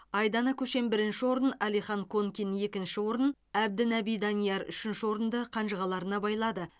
айдана көшен бірінші орын алихан конкин екінші орын әбдінаби данияр үшінші орынды қанжығаларына байлады